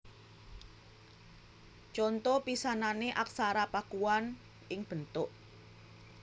Conto pisanané Aksara Pakuan ing bentuk